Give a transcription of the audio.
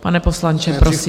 Pane poslanče, prosím.